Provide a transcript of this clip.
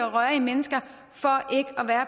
og rørige mennesker for ikke at være